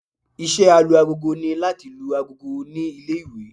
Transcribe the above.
Iṣẹ́ Alu-agogo ni láti lu agogo ní ilé-ìwé